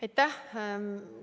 Aitäh!